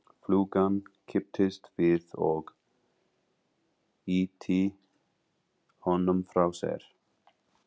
Flugan kipptist við og ýtti honum frá sér.